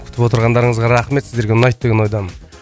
күтіп отырғандарыңызға рахмет сіздерге ұнайды деген ойдамын